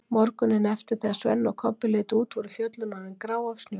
Morguninn eftir þegar Svenni og Kobbi litu út voru fjöllin orðin grá af snjó.